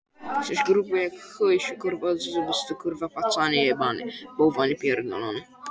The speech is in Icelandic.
Þessi gagnrýni Valgerðar er því ekki á rökum reist.